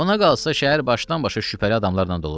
Ona qalsa şəhər başdan-başa şübhəli adamlarla doludur.